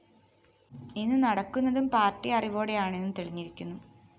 ഇന്ന് നടക്കുന്നതും പാര്‍ട്ടി അറിവോടെയാണെന്ന് തെളിഞ്ഞിരിക്കുന്നു